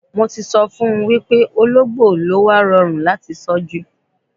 Mo ti so fun wipe ologbo ni o wa rorun lati tọju